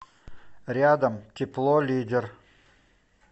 рядом тепло лидер